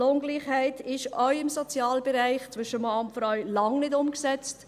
Die Lohngleichheit ist auch im Sozialbereich zwischen Mann und Frau lange nicht umgesetzt.